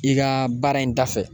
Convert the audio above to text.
I ka baara in da fɛ